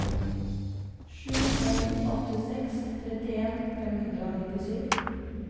sju en åtte seks trettien fem hundre og nittisju